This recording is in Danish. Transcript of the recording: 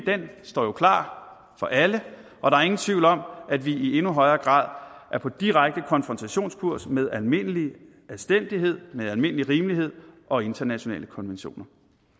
står jo klar for alle og der er ingen tvivl om at vi i endnu højere grad er på direkte konfrontationskurs med almindelig anstændighed med almindelig rimelighed og internationale konventioner